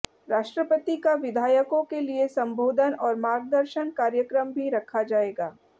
राष्ट्रपति का विधायकों के लिए संबोधन और मार्गदर्शन कार्यक्रम भी रखा जाएगा